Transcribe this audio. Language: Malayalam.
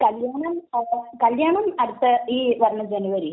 കല്യാണം അടുത്ത...ഈ വരുന്ന ജനുവരിയില്.